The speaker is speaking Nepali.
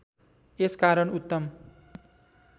यस कारण उत्तम